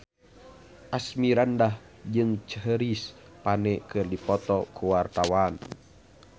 Asmirandah jeung Chris Pane keur dipoto ku wartawan